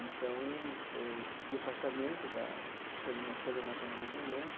Então, eu pedi afastamento da coordena coordenação do movimento.